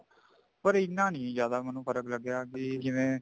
ਪਰ ਇੰਨਾ ਨੀ ਜਿਆਦਾ ਮੈਨੂੰ ਫਰਕ ਲੱਗਿਆ ਜਿਵੇ